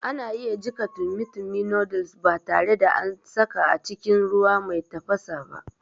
Ana iya jiƙa tummy tummy noddles ba tare da an saka cikin ruwa mai tafasa ba